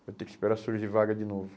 vai ter que esperar surgir vaga de novo.